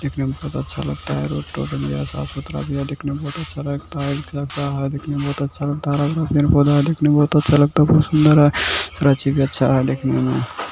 देखने में बहुत अच्छा लगता है रोड तोड साफ-सुथरा भी है देखने में बहुत अच्छा लगता है हरा पेड़-पौधा है देखने मे बहुत अच्छा लगता है बहुत सुंदर है सारा चीज भी अच्छा है देखने में।